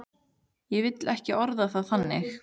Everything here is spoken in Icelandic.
Ég vil ekki orða það þannig.